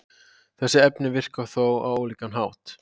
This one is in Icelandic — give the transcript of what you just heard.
Þessi efni virka þó á ólíkan hátt.